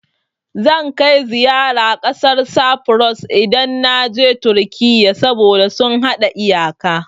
Zan kai ziyara ƙasar Safuros, idan na je Turkiyya, saboda sun haɗa iyaka.